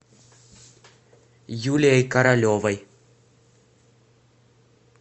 юлией королевой